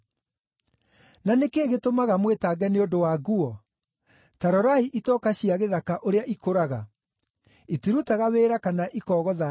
“Na nĩ kĩĩ gĩtũmaga mwĩtange nĩ ũndũ wa nguo? Ta rorai itoka cia gĩthaka ũrĩa ikũraga. Itirutaga wĩra kana ikogotha ndigi,